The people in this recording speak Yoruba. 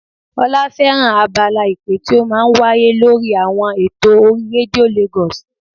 Ọlá fẹ́ràn abala ìpè tí ó máa ń wáyé lórí àwọn eto orí rédíò Lagos